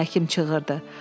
Həkim çığırdı.